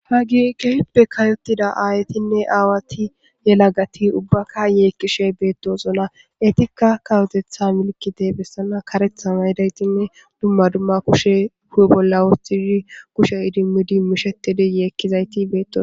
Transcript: hagike hippe kayotida aayetinne aawati yela gati ubbaka yeekkishe beetto zola etikka kawotetha milkide bessana karethan haydaytinne dumma dumma kushe hu7e bolla woostishi kushe idimmidi mishetidiyeekkizayti betos